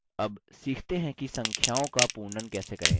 अब सीखते हैं कि संख्याओं का पूर्णन कैसे करें